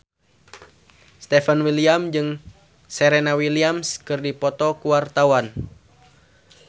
Stefan William jeung Serena Williams keur dipoto ku wartawan